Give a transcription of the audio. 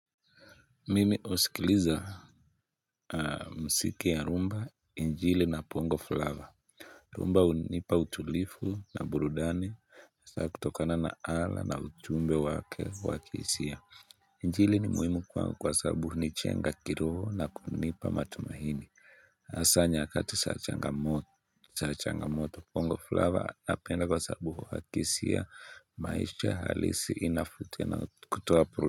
Mimi husikiliza mziki wa rhumba, injili na bongo flavaa, rhumba hunipa utulivu na burudani kutokana na ala na ujumbe wake wakihisia, injili ni muhimu kwa sababu hunijenga kiroho na kunipa matumaini Hasa nyakati za changamoto bongo flava napenda kwasababu inahisia maisha halisi.